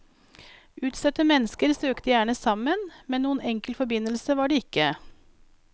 Utstøtte mennesker søkte gjerne sammen, men noen enkel forbindelse var det ikke.